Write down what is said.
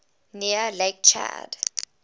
near lake chad